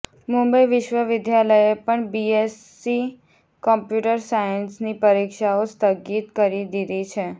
મુંબઈ વિશ્વવિદ્યાલયે પણ BSc computer સાયન્સની પરિક્ષાઓ સ્થગિત કરી દીધી છે